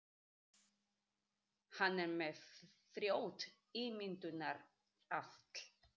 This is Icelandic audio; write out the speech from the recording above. Hann er með frjótt ímyndunarafl.